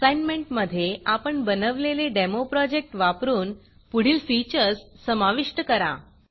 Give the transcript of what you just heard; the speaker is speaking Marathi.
असाईनमेंटमधे आपण बनवलेले डेमो प्रोजेक्ट वापरून पुढील फीचर्स समाविष्ट करा